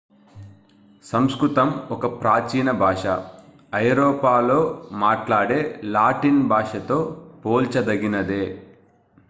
సంస్కృతం ఒక ప్రాచీన భాష ఐరోపాలో మాట్లాడే లాటిన్ భాషతో పోల్చదగినదే